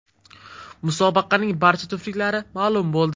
Musobaqaning barcha juftliklari ma’lum bo‘ldi.